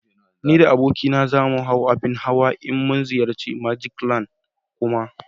Ni da abokina za mu hau abin nadi in mun ziyarci "magic land" Kuma